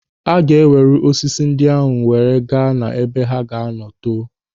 Aga ewere osisi ndị ahụ wee gaa ha ebe ha ga-anọ too.